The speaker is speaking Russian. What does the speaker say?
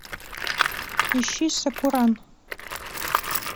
ищи сакуран